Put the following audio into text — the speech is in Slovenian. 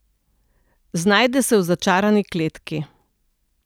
Znajde se v začarani kletki.